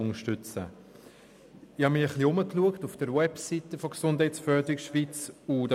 Ich habe mich auf der Website von Gesundheitsförderung Schweiz umgeschaut.